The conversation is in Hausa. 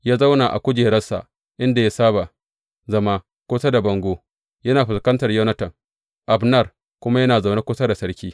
Ya zauna a kujeransa inda ya saba zama kusa da bango yana fuskantar Yonatan, Abner kuma ya zauna kusa da sarki.